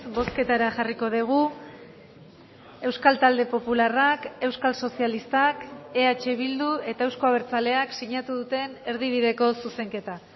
bozketara jarriko dugu euskal talde popularrak euskal sozialistak eh bildu eta euzko abertzaleak sinatu duten erdibideko zuzenketa